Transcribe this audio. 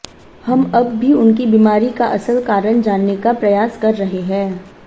हम अब भी उनकी बीमारी का असल कारण जानने का प्रयास कर रहे हैं